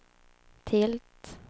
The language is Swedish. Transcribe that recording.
tilt